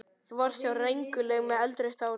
Þú varst há og rengluleg með eldrautt hár.